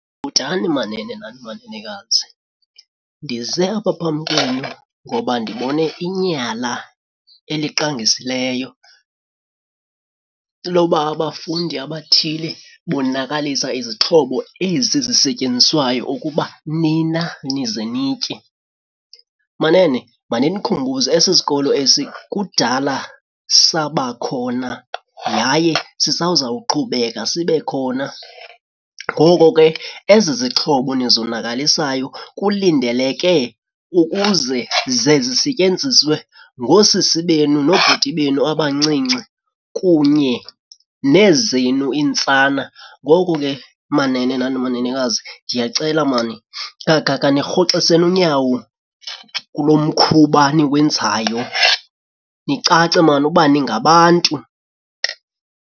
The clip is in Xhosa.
Bhotani manene nani manenekazi. Ndize apha phambi kwenu ngoba ndibone inyala eliqangisileyo loba abafundi abathile bonakalisa izixhobo ezi zisetyenziswayo ukuba nina nize nitye. Manene, mandinikhumbuze esi sikolo esi kudala saba khona yaye sisazawuqhubeka sibe khona. Ngoko ke ezi zixhobo nizonakalisayo kulindeleke ukuze ze zisetyenziswe ngoosisi benu nobhuti benu abancinci kunye nezenu iintsana. Ngoko ke manene nani manenekazi ndiyacela mani khanirhoxiseni unyawo kulo mkhuba niwenzayo nicace mani uba ningabantu.